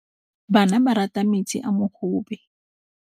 Bana ba rata metsi a mogobe.